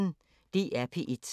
DR P1